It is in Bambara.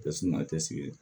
Tɛ sumaya tɛ sigi